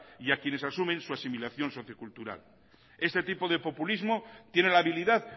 y a quienes asumen sus asimilación socio cultural este tipo de populismo tiene la habilidad